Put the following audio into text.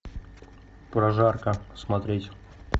прожарка смотреть